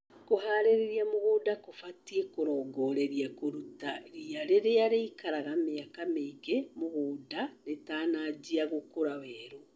Kũharĩria mũgũnda gũbatie kũrongorerie kũruta riia rĩrĩa rĩikaraga mĩaka mĩingĩ mũgũnda rĩtanajia gũkũra weru.